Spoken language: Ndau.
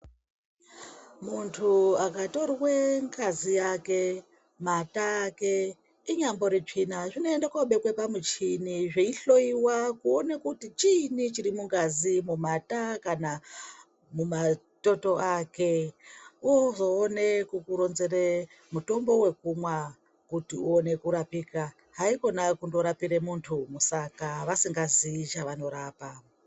Muntu akatorwa ngazi yake, mata ake inyambori tsvina zvinoenda koobekwa pamuchini zveihloiwa kuona kuti chiinyi chirimigazi, mumatoto ake ozoona kukuronzera mitombo wekumwa kuti uone kurapika haikona kundorapira vantu musaka vasikazii chavanorapa.